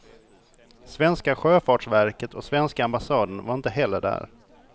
Svenska sjöfartsverket och svenska ambassaden var inte heller där.